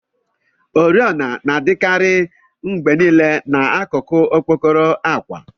Oriọna na-adikarị mgbe niile na n'akụkụ okpokoro akwa.